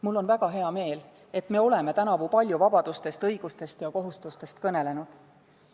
Mul on väga hea meel, et me oleme tänavu palju vabadustest, õigustest ja kohustustest kõnelenud.